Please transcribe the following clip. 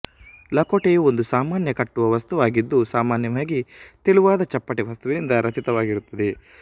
ಲಕೋಟೆಯು ಒಂದು ಸಾಮಾನ್ಯ ಕಟ್ಟುವ ವಸ್ತುವಾಗಿದ್ದು ಸಾಮಾನ್ಯವಾಗಿ ತೆಳುವಾದ ಚಪ್ಪಟೆ ವಸ್ತುವಿನಿಂದ ರಚಿತವಾಗಿರುತ್ತದೆ